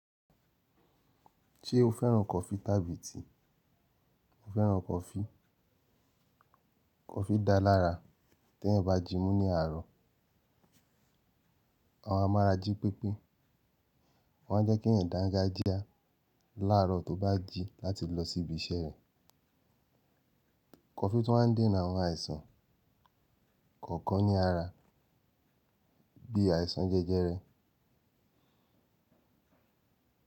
Ṣé o féràn coffee tàbí tea? Mo féràn coffee. Coffee dáa lára tí eyan bá jimu ní àárọ̀. Amọ mu ara jí pepe, o má ń jẹ́ kí ẹ̀yàn dangajia láàrọ̀ tó bá jí láti lọ sí ibi iṣẹ́ rẹ̀. Coffee tun wa n dènà àwọn àìsàn kọ̀ọ̀kan ní ara bí àìsàn jẹjẹrẹ.